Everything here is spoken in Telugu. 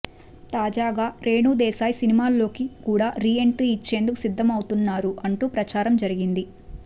తాజాగా రేణు దేశాయ్ సినిమాల్లోకి కూడా రీ ఎంట్రీ ఇచ్చేందుకు సిద్దం అవుతున్నారు అంటూ ప్రచారం జరిగింది